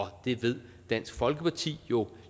det ved dansk folkeparti jo